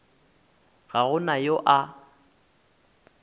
ga go na yo a